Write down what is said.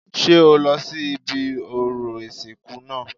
Ṣé o lọ sí ibi orò ìsìnkú náà